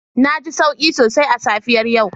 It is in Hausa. Na ji sauki sosai a safiyar yau